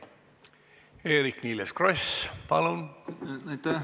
Eerik-Niiles Kross, palun!